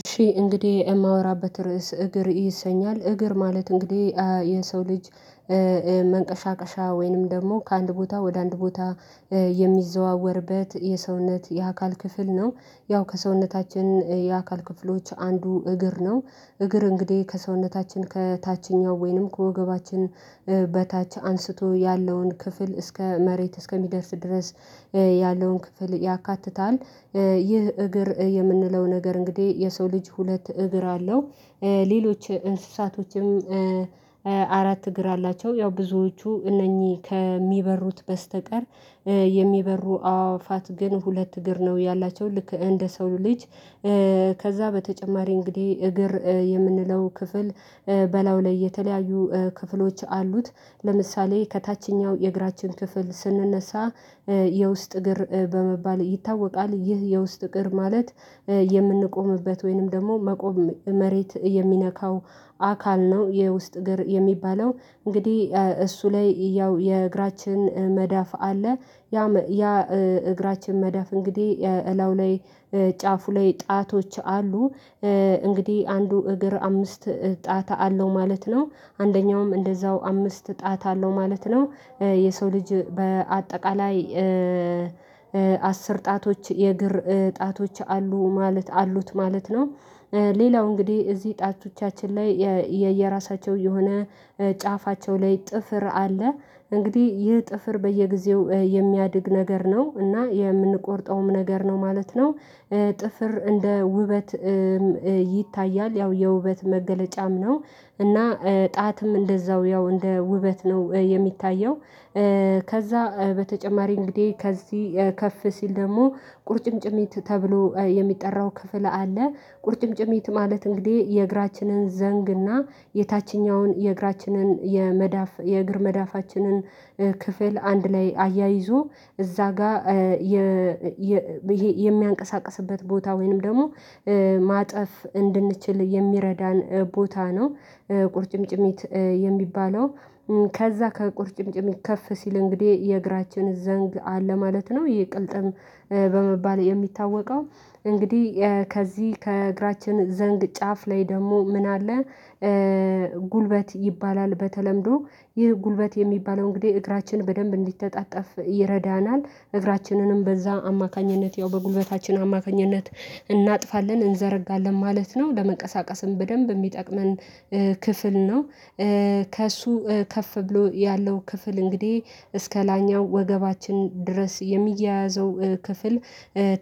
እሺ እንግዲህ የማወራበት ርዕስ እግር ይሰኛል እግር ማለት እንግዲህ የሰው ልጅ መንቀሻቀሻ ወይንም ደግሞ ከአንድ ቦታ ወደ አንድ ቦታ የሚዘዋወርበት የሰውነት የአካል ክፍል ነው። ያው ከሰውነታችን የአካል ክፍሎች አንዱ እግር ነው እግር እንግዲህ ከሰውነታችን ከታችኛው ወይንም ከወገባችን በታች አንስቶ ያለውን ክፍል እስከ መሬት እስከሚደርስ ድረስ ያለውን ክፍል ያካትታል። ይህ እግር የምንለው ነገር እንግዲህ የሰው ልጅ ሁለት እግር አለው። ሌሎች እንስሳቶችም አራት እግር አላቸው ያው ብዙዎቹ እነኚህ ከሚበሩት በስተቀር የሚበሩ አእዋፋት ግን ሁለት እግር ነው ያላቸው ልክ እንደ ሰው ልጅ። ከዛ በተጨማሪ እንግዲህ እግር የምንለው ክፍል በላዩ ላይ የተለያዩ ክፍሎች አሉት። ለምሳሌ ከታችኛው የእግራችን ክፍል የውስጥ እግር በመባል ይታወቃል። ይህ የውስጥ እግር ማለት የምንቆምበት ወይንም ደግሞ መቆም መሬት የሚነካው አካል ነው። የውስጥ እግር የሚባለው እንግዲህ እሱ ላይ ያው የእግራችን መዳፍ አለ ያም ያ እግራችን መዳፍ እንግዲህ እላዩ ላይ ጫፉ ላይ ጣቶች አሉ። እንግዲህ አንዱ እግር አምስት ጣት አለው ማለት ነው አንደኛውም እንደዛው አምስት ጣት አለው ማለት ነው። የሰው ልጅ በአጠቃላይ አስር ጣቶች የእግር ጣቶች አሉ ማለት አሉት ማለት ነው። ሌላው እንግዲህ እዚህ ጣቶቻችን ላይ የ የየራሳቸው የሆነ ጫፋቸው ላይ ጥፍር አለ እንግዲህ ይህ ጥፍር በየጊዜው የሚያድግ ነገር ነው እና የምንቆርጠውም ነገር ነው ማለት ነው። ጥፍር እንደ ውበት ይታያል ያው የውበት መገለጫም ነው። እና ጣትም እንደዛው ያው እንደ ውበት ነው የሚታየው። ከዛ በተጨማሪ እንግዲህ ከዚህ ከፍ ሲል ደግሞ ቁርጭምጭሚት ተብሎ የሚጠራው ክፍል አለ ቁርጭምጭሚት ማለት እንግዲህ የእግራችንን ዘንግ እና የታችኛውን የእግራችንን የመዳፍ የእግር መዳፋችንን ክፍል አንድ ላይ አያይዞ እዛ ጋር የ የ የሚያንቀሳቅስበት ቦታ ወይንም ደግሞ ማጠፍ እንድንችል የሚረዳን ቦታ ነው። ቁርጭምጭሚት የሚባለው ከዛ ከቁርጭምጭሚት ከፍ ሲል እንግዲህ የእግራችን ዘንግ አለ ማለት ነው ይህ ቅልጥም በመባል የሚታወቀው እንግዲህ ከዚህ ከእግራችን ዘንግ ጫፍ ላይ ደግሞ ምን አለ? ጉልበት ይባላል በተለምዶ ይህ ጉልበት የሚባለው እንግዲህ እግራችን በደንብ እንዲተጣጠፍ ይረዳናል እግራችንንም በዛ አማካኝነት ያው በጉልበታችን አማካኝነት እናጥፋለን እንዘረጋለን ማለት ነው ለመንቀሳቀስም በደንብ እሚጠቅመን ክፍል ነው። ከእሱ ከፍ ብሎ ያለው ክፍል እንግዲህ እስከ ላይኛው ወገባችን ድረስ የሚያያዘው ክፍል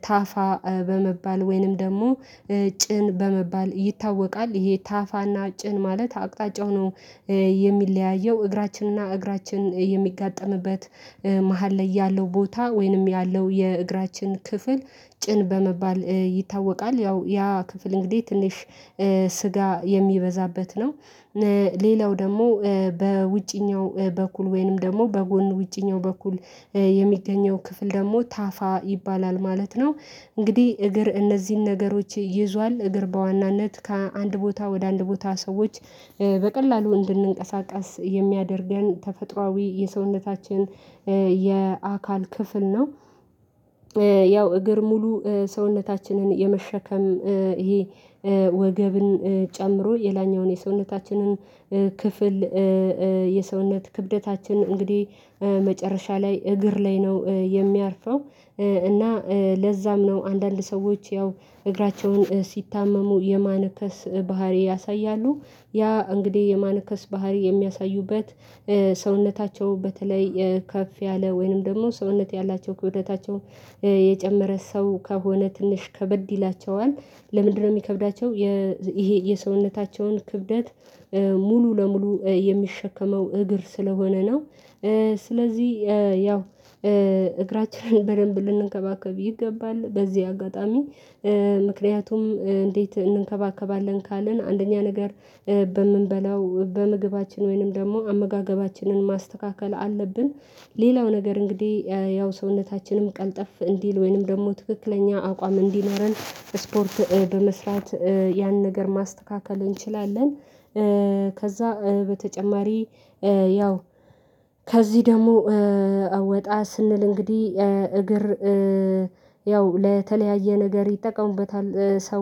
ታፋ በመባል ወይንም ደግሞ ጭን በመባል ይታወቃል ይሄ ታፋ እና ጭን ማለት አቅጣጫው ነው። የሚለያየው እግራችን እና እግራችን የሚጋጠምበት መሃል ላይ ያለው ቦታ ወይንም ያለው የእግራችን ክፍል ጭን በመባል ይታወቃል ያው ያ ክፍል እንግዲህ ትንሽ ስጋ የሚበዛበት ነው። ሌላው ደግሞ በውጪኛው በኩል ወይንም ደግሞ በጎን ውጪኛው በኩል የሚገኘው ክፍል ደግሞ ታፋ ይባላል ማለት ነው። እንግዲህ እግር እነዚህን ነገሮች ይዟል እግር በዋናነት ከአንድ ቦታ ወደ አንድ ቦታ ሰዎች በቀላሉ እንድንንቀሳቀስ የሚያደርገን ተፈጥሯዊ የሰውነታችን የአካል ክፍል ነው። ያው እግር ሙሉ ሰውነታችንን የመሸከም ይሄ ወገብን ጨምሮ የላይኛውን የሰውነታችንን ክፍል የሰውነት ክብደታችን እንግዲህ መጨረሻ ላይ እግር ላይ ነው የሚያርፈው። እና ለዛም ነው አንዳንድ ሰዎች ያው እግራቸውን ሲታመሙ የማነከስ ባህሪ ያሳያሉ ያ እንግዲህ የማነከስ ባህሪ የሚያሳዩበት ሰውነታቸው በተለይ ከፍ ያለ ወይንም ደግሞ ሰውነት ያላቸው ክብደታቸው የጨመረ ሰው ከሆነ ትንሽ ከበድ ይላቸዋል ለምንድነው ሚከብዳቸው የ ዝ ይሄ የሰውነታቸውን ክብደት ሙሉ ለሙሉ የሚሸከመው እግር ስለሆነ ነው። ስለዚህ ያው እግራችንን በደንብ ልንንከባከብ ይገባል በዚህ አጋጣሚ ምክንያቱም እንዴት እንንከባከባለን ካልን አንደኛ ነገር በምንበላው በምግባችን ወይንም ደግሞ አመጋገባችንን ማስተካከል አለብን። ሌላው ነገር እንግዲህ ያው ሰውነታችንም ቀልጠፍ እንዲል ወይንም ደግሞ ትክክለኛ አቋም እንዲኖረን ስፖርት በመስራት ያን ነገር ማስተካከል እንችላለን። ከዛ በተጨማሪ ያው ከዚህ ደግሞ ወጣ ስንል እንግዲህ እግር ያው ለተለያየ ነገር ይጠቀሙበታል ሰው